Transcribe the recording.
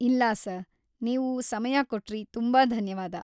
ಇಲ್ಲ ,ಸರ್.‌ ನೀವು ಸಮಯ ಕೊಟ್ರಿ ತುಂಬಾ ಧನ್ಯವಾದ!